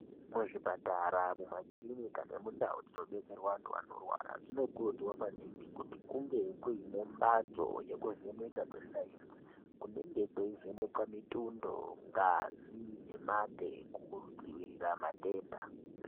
Mu zvipatara mu makirinika nemu ndau dzino detserwa antu anorwara dzino kurudzirwa maningi kuti kunge kuine mbatso yeku vheneka kwe sainzi kunenge kwei vhenekwa mitundo ngazi ne mate ku dzivirira matenda.